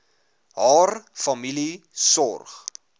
haar familie sorg